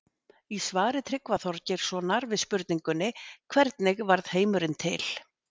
Í svari Tryggva Þorgeirssonar við spurningunni Hvernig varð heimurinn til?